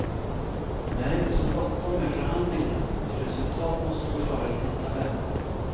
Det är inte så bråttom med förhandlingarna, ty resultat måste gå före tidtabell.